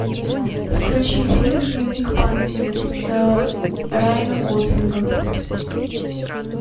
включи фильм дневник памяти с райаном гослингом